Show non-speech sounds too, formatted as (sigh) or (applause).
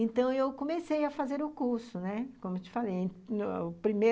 Então, eu comecei a fazer o curso, né, como eu te falei (unintelligible) o prime